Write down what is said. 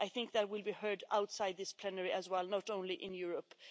I think that will be heard outside this plenary as well, not only in Europe.